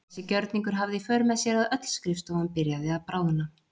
Þessi gjörningur hafði í för með sér að öll skrifstofan byrjaði að bráðna.